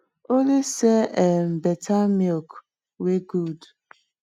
only sell um better milk wey good